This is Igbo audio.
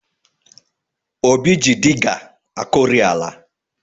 Obi ji diga akọrị ala